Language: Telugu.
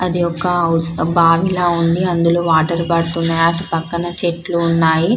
అది ఒక హౌస్ బాగిలా ఉంది అందులో వాటర్ బాటిల్ ఉన్నాయి అటు పక్కన చెట్లు ఉన్నాయి --